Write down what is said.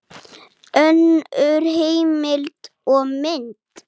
Önnur heimild og mynd